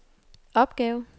opgave